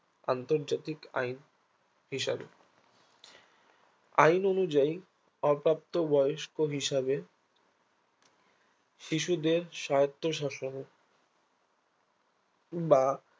আন্তর্জাতিক আইন হিসাবে আইন অনুযায়ী অপ্রাপ্ত বয়স্ক হিসাবে শিশুদের স্বায়ত্ত শাসন বা